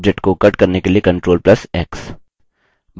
एक object को cut करने के लिए ctrl + x